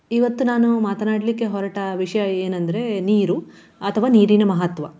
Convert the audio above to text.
ಇವತ್ತು ನಾನು ಮಾತನಾಡಲಿಕ್ಕೆ ಹೊರಟ ವಿಷಯ ಏನಂದ್ರೆ ನೀರು ಅಥವಾ ನೀರಿನ ಮಹತ್ವ.